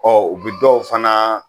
u bi dɔw fana